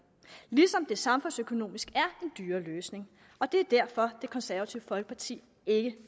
ligesom det samfundsøkonomisk er en dyrere løsning og det er derfor det konservative folkeparti ikke